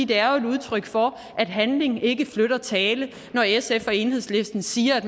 det er jo et udtryk for at handling ikke følger tale når sf og enhedslisten siger at